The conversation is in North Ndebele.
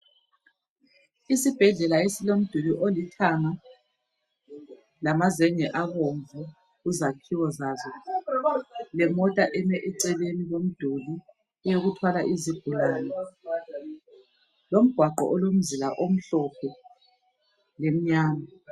Isibhedlela esilomduli olithanga lamazenge abomvu kuzakhiwo zazo lemota eme eceleni komduli eyokuthwala izigulani lomgwaqo olomzila omhlophe lemnyama